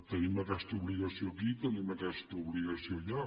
tenim aquesta obligació aquí tenim aquesta obligació allà